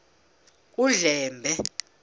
undlambe